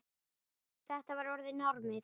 Þetta var orðið normið.